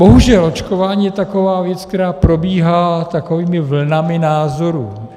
Bohužel očkování je taková věc, která probíhá takovými vlnami názorů.